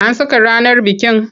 An saka ranar bikin?